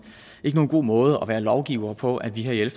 god måde at være lovgivere på at vi her i